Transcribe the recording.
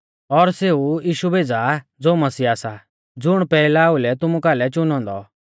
और सेऊ यीशु भेज़ा ज़ो मसीहा सा ज़ुण पैहला ओउलै तुमु कालै च़ुनौ औन्दौ